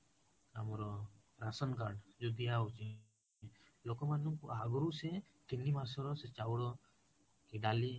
ଆମର ration card ଯୋଉ ଦିଆ ହୋଉଛି ଲୋକ ମାନଙ୍କୁ ଆଗରୁ ସେ ତିନି ମାସର ସେ ଚାଉଳ କି ଡାଲି